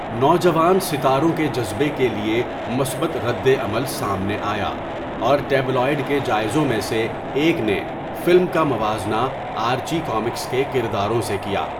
نوجوان ستاروں کے جذبے کے لیے مثبت ردعمل سامنے آیا اور ٹیبلوئڈ کے جائزوں میں سے ایک نے فلم کا موازنہ آرچی کامکس کے کرداروں سے کیا۔